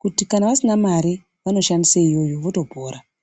kuti kana vasina mari vano shandise iyoyo voto pora.